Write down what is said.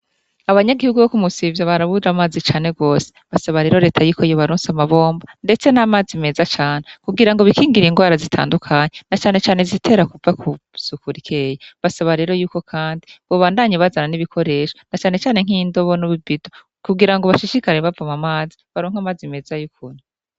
Abanyagihugu bo ku Musivya barabura amazi cane gose .Barasaba rero leta y'iko yebaronsa amabomba ndetse n'amazi meza cane kubwira ngo bikingiriye ingwara zitandukanye na cane Cane zitera kuva kusukurikeyi basaba rero y'uko kandi bubandanye bazana n'ibikoresho na cane Cane nk'indobo n'ububito kugira ngo bashishikare bavamu mazi baronka amazi meza yokunywa.